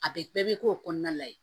A bɛ bɛɛ bɛ k'o kɔnɔna la yen